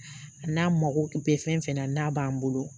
A n'a mako bɛ fɛn fɛn na n'a b'an bolo